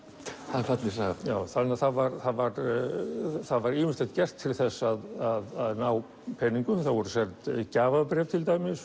það er falleg saga þannig að það var það var það var ýmislegt gert til að ná peningum það voru seld gjafabréf til dæmis